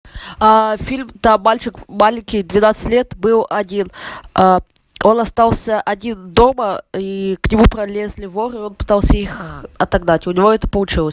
фильм там мальчик маленький двенадцать лет был один он остался один дома и к нему пролезли воры он пытался их отогнать у него это получилось